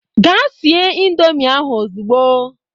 Gaa sie indọmii ahụ ozugbo!